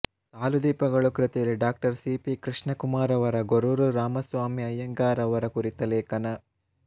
ಸಾಲು ದೀಪಗಳು ಕೃತಿಯಲ್ಲಿ ಡಾ ಸಿ ಪಿ ಕೃಷ್ಣಕುಮಾರ್ ಅವರ ಗೊರೂರು ರಾಮಸ್ವಾಮಿ ಅಯ್ಯಂಗಾರ್ ಅವರ ಕುರಿತ ಲೇಖನ